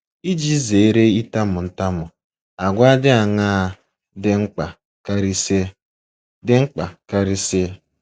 Iji zere ịtamu ntamu, àgwà dị aṅaa dị mkpa karịsịa? dị mkpa karịsịa?